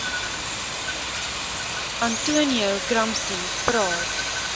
antonio gramsci praat